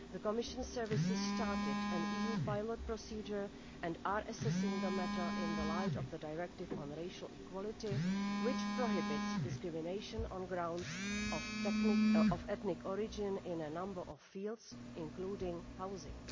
The Commission's services started an EU pilot procedure and are assessing the matter in the light of the Directive on Racial Equality, which prohibits discrimination on grounds of ethnic origin in a number of fields, including housing.